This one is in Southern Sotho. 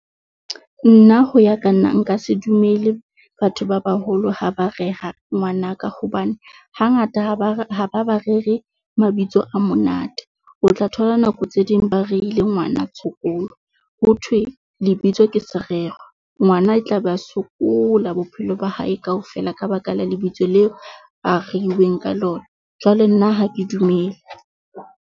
Nna ho ya ka nna nka se dumele batho ba baholo, ha ba rera ngwanaka hobane, hangata ha ba ha ba ba rere mabitso a monate. O tla thola nako tse ding ba reile ngwana Tshokolo, ho thwe lebitso ke serero. Ngwana e tla be a sokola bophelo ba hae kaofela ka baka la lebitso leo a reilweng ka lona, jwale nna ha ke dumele.